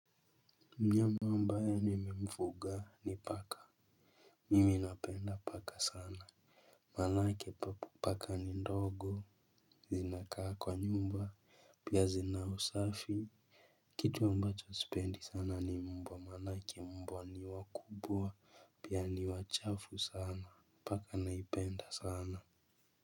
Mnyama ambaye nimemfuga ni paka. Mimi napenda paka sana maanake paka ni ndogo. Zinakaa kwa nyumba pia zina usafi. Kitu ambacho sipendi sana ni mbwa maanake mbwa ni wakubwa. Pia ni wachafu sana paka naipenda sana.